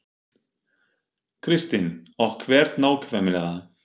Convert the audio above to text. Kristín: Og hvert nákvæmlega?